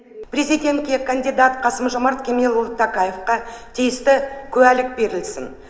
президентке кандидат қасым жомарт кемелұлы тоқаевқа тиісті куәлік берілсін